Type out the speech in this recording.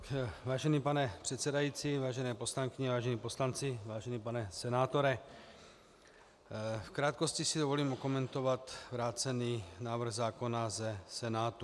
Vážený pane předsedající, vážené poslankyně, vážení poslanci, vážený pane senátore, v krátkosti si dovolím okomentovat vrácený návrh zákona ze Senátu.